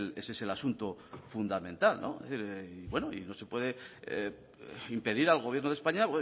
ese es el asunto fundamental y bueno no se puede impedir al gobierno de españa